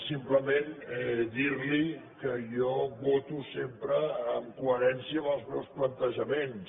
simplement dir li que jo voto sempre en coherència amb els meus plantejaments